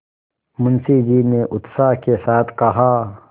मुंशी जी ने उत्साह के साथ कहा